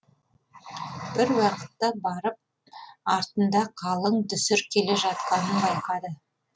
бір уақытта барып артында қалың дүсір келе жатқанын байқады